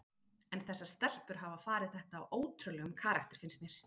En þessar stelpur hafa farið þetta á ótrúlegum karakter finnst mér.